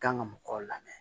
Kan ka mɔgɔw lamɛn